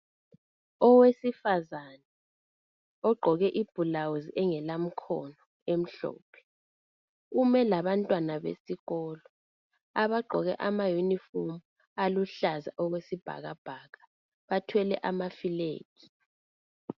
Owesifazane ogqoke ibhulawuzi engelamkhono emhlophe , ume labantwana besikolo abagqoke ama uniform aluhlaza okwesibhakabhaka bathwele amaflegi